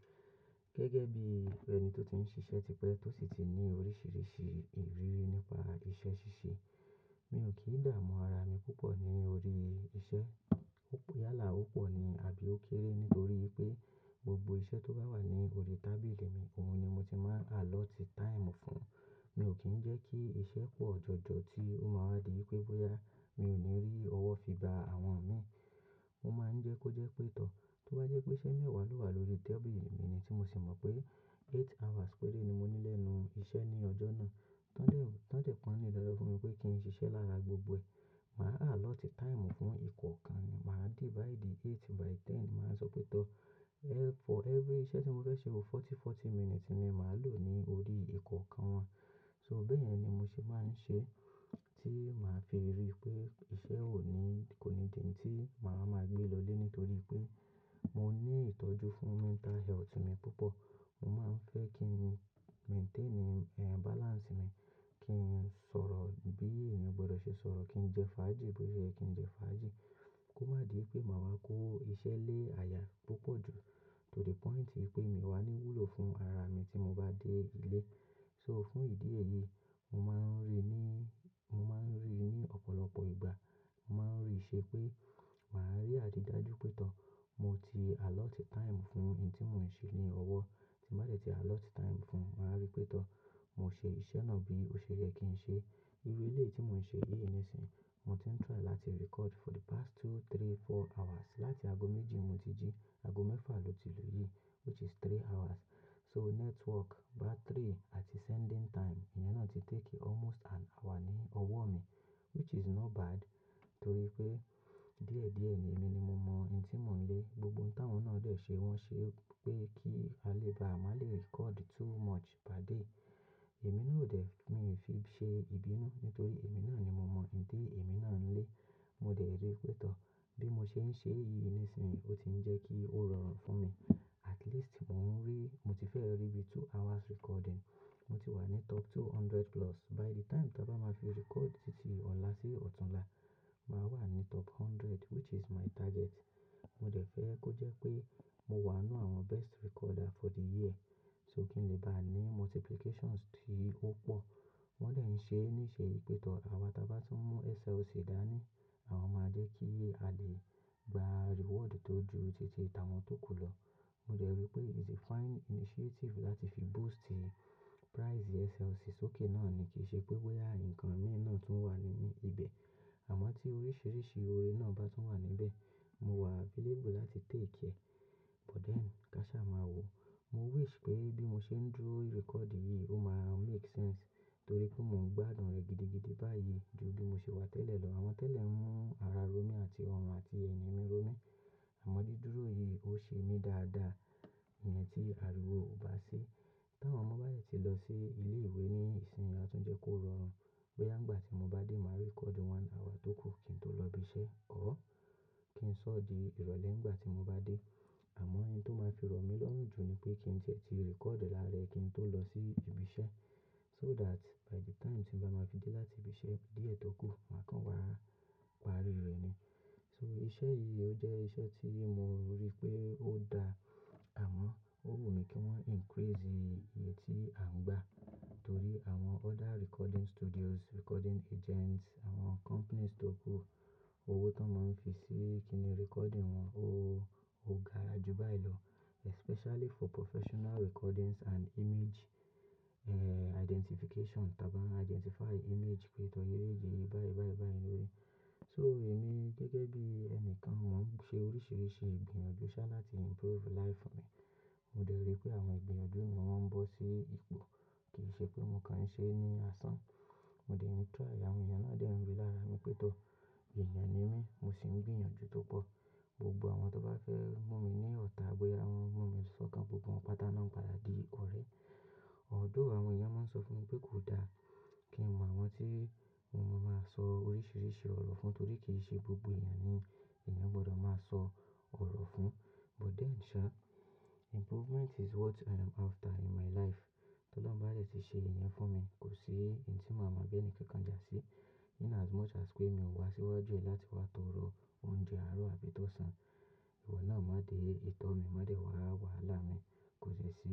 Gẹ́gẹ́ bí ẹni tó ti ń ṣiṣẹ́ tipẹ́ tó sì ti ní oríṣiríṣi ìrírí nípa iṣẹ́ ṣíṣe, mi ò kí dààmú ara mi púpọ̀ ní orí iṣẹ́. Ó yálà, ó pọ̀ ni àbí ó kéré nítorí pé gbogbo iṣẹ́ tó bá wà ní orí tábìlì mi, òun ni mo ti máa allot time fún. Mi ò kí ń jẹ́ kí iṣẹ́ pọ̀ jọjọ ti ó máa wá di pé bóyá mi ò ní rí ọwọ́ fi bá àwọn mi. Mo máa ń jẹ́ kó jẹ́ pé tọ́, tó bá jẹ́ pé iṣẹ́ mẹ́wàá ló wà lórí tábìlì mi ni tí mo sì mọ̀ pé eight hours péré ni mo ní lẹ́nu iṣẹ́ ní ọjọ́ náà, tọ́ dẹ̀ tọ́ dẹ̀ pọ̀n-ún nínú lọ́jọ́ fún mi pé kí n ṣiṣẹ́ lára gbogbo ẹ̀. Màá allot time fún ìkọ̀ọ̀kan ni, màá divide eight by ten. Màá sọ pé tọ́, for every iṣẹ́ tí mo fẹ́ ṣe, forty, forty minutes ni màá lò ní orí ìkọ̀ọ̀kan wọn. So bẹ́ẹ̀ yẹn ni mo sì máa ń ṣe tí màá fi rí pé iṣẹ́ ò ní kònídi tí màá máa gbé lọ lé nítorí pé mo ní ìtọ́jú fún mental health mi púpọ̀. Mo máa ń fẹ́ kí n maintain, balance mi, kí n sọ̀rọ̀ bí èèyàn gbọdọ̀ ṣe sọ̀rọ̀, kí n jẹ fáájì bóye kí n jẹ fáájì. Kó má di pé màá wá kó iṣẹ́ lé aya púpọ̀ jù to the point pé mi ò wá ní wúlò fún ara mi tí mo bá dé ilé. So fún ìdí èyí, mo máa ń rí ní, mo máa ń rí ní ọ̀pọ̀lọpọ̀ ìgbà, mo máa ń rí i ṣe pé màá rí àdí dájú pé tọ́ mo ti allot time fún ohun tí mò ń ṣe ní ọwọ́ tí n bá dẹ̀ ti allot time fún. Màá rí pé tọ́ mo ṣe iṣẹ́ náà bí òṣèye kí n ṣe. Irú eleyi tí mò ń ṣe yìí nísìnyí, mo ti ń try láti record for the past two, three, four hours. Láti ago méjì mo ti jí ago mẹ́fà lo ti lò yìí which is three hours. So network, battery àti sending time, ìyẹn náà ti take almost an hour ní ọwọ́ mi which is not bad. Nítorí pé díẹ̀ díẹ̀ ni èmi ni mo mọ ohun tí mò ń lé. Gbogbo ohun táwọn náà dé ṣe, wọ́n ṣe pé kí a lè bá má lè record too much per day. Èmi náà ò dé, mi ò fi ṣe ìbínú nítorí èmi náà ni mo mọ̀, ohun ti èmi náà ń lé. Mo dẹ̀ rí pé tọ́ bí mo ṣe ń ṣe yìí nísìnyí, ó ti ń jẹ́ kí ó rọrùn fún mi. At least mò ń rí, mo ti fẹ́ rí bí two hours recording. Mo ti wà ní top two hundred plus. By the time tí a bá máa fi record títí ọ̀la sí ọ̀tunla, màá wà ní top hundred which is my target. Mo dẹ̀ fẹ́ kó jẹ́ pé mo wà nínú àwọn best recorder for the year so kí n lè bá ní multiplications tí ó pọ̀. Wọ́n dè ń ṣe níṣe yìí pé tọ́ àwa tí bá tún mú SLC dá ní àwa máa jẹ́ kí a lè gba reward tó ju títí ta wọn tó kù lọ. Mo dẹ̀ rí pé it's a fine initiative láti fi boost price SLC sókè náà ni kìí ṣe pé bóyá ǹkan mi náà tún wà nínú ibẹ̀. Àmọ́ tí oríṣiríṣi orí náà bá tún wà níbẹ̀, mo wà available láti take ẹ. But then káṣà máa wò. Mo wish pé bí mo ṣe ń dúró record yìí, ó máa make sense torí pé mò ń gbádùn rẹ̀ gidigidi báyìí ju bí mo ṣe wà tẹ́lẹ̀ lọ. Àwọn tẹ́lẹ̀ ń mú ara ró mi àti ọrùn àti èèyàn mi ró mi. Àmọ́ dídúró yìí ó ṣe mí dáadáa. Ìyẹn tí àríwó ò bá sí. Tí àwọn ọmọ bá dẹ ti lọ sí ilé ìwé ní ìsìn, a tún jẹ́ kó rọrùn. Bóyá nígbà tí mo bá dé, màá record one hour tó kù kí n tó lọ ibi iṣẹ́ or kí n sọ́ di ìrọ̀lẹ́ nígbà tí mo bá dé. Àmọ́ ohun tó máa fi rọ mí lọ́rùn jù ni pé kí n tie tí record lárẹ kí n tó lọ sí ibi iṣẹ́ so that by the time tí mo bá ma fi dé láti ibi iṣẹ́ díẹ̀ tó kù, màá kàn wá parí rẹ̀ ni. So iṣẹ́ yìí ó jẹ́ iṣẹ́ tí mo rí pé ó da, àmọ́ ó wù mí kí wọ́n increase iye tí à ń gbà torí àwọn other recording studios, recording agents, àwọn companies tó kú, owó tó máa ń fi sí kí ni recording wọn ó ga ju báyìí lọ especially for professional recordings and image, identification. Tí a bá ń identify image pé tọ́ yéyé yìí báyìí báyìí báyìí ni ó rí. So èmi gẹ́gẹ́ bí ẹni kan, mò ń ṣe oríṣiríṣi ìgbìyànjú ṣá láti improve life mi. Mo dẹ̀ rí pé àwọn ìgbìyànjú mi wọ́n ń bọ́ sí ipò, kì í ṣe pé mo kàn ń ṣe ní asán. Mo dẹ̀ ń try, àwọn èèyàn náà dẹ̀ ń ríi lára mi pé tọ́ èèyàn ni mí, mo sì ń gbìyànjú tó pọ̀. Gbogbo àwọn tó bá fẹ́ mú mi ní ọ̀tá bóyá wọ́n mú mi sọ́kàn, gbogbo wọn pátá náà ń padà di ọ̀rẹ́. Although àwọn èèyàn, màá ń sọ fún wọn pé kò da kí n mọ àwọn tí mo máa sọ oríṣiríṣi ọ̀rọ̀ fún torí kì í ṣe gbogbo èèyàn ni èèyàn gbọdọ̀ máa sọ ọ̀rọ̀ fún. But then sha improvement is what i am after in my life. Tí Ọlọ́run bá yẹ ti ṣe ìyẹn fún mi, kò sí ohun tí màá mọ bí ẹni ké kan jásí in as much as pé mi ò wá síwájú ẹ̀ láti wá tọrọ oúnjẹ àárọ̀ àbí tó sàn. Ìwọ náà má de ìtọ́ mi, má de wa wàhálà mi, kò sí ẹṣin.